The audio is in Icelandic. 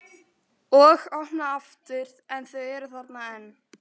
Og opna aftur en þau eru þarna enn.